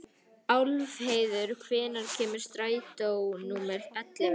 Álfheiður, hvenær kemur strætó númer ellefu?